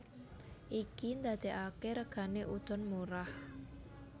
Iki ndadekake regane udon murah